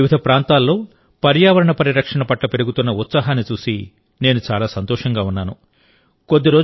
దేశంలోని వివిధ ప్రాంతాల్లో పర్యావరణ పరిరక్షణ పట్ల పెరుగుతున్న ఉత్సాహాన్ని చూసి నేను చాలా సంతోషంగా ఉన్నాను